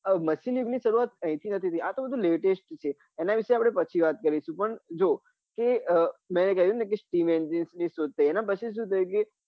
આ machine યુગ ની સરુઆત અહી થી નથી થઇ આ તો બધું latest છે એના વિશે આપડે પછી વાત કરીશું પણ જો તે મેં કહ્યું ને કે steam engine ની શોધ થઇ કે એના પછી શું થયું કે